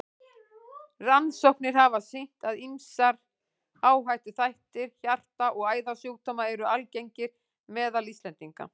Rannsóknir hafa sýnt, að ýmsir áhættuþættir hjarta- og æðasjúkdóma eru algengir meðal Íslendinga.